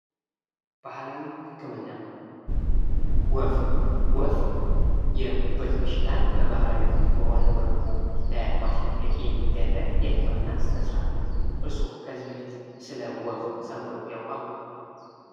ባህላዊ ህክምና ወፍ ወፍ የጉበት በሽታን በባህላዊ በሆነ መልኩ ለማስለቀቅ የሚደረግ የህክምና ስነ-ስርዓት ነው። እርስዎ ከዚህ በፊት ስለ ወፍ ሰምተው ያውቃሉ?